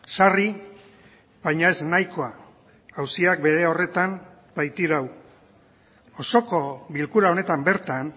sarri baina ez nahikoa auziak bere horretan baitirau osoko bilkura honetan bertan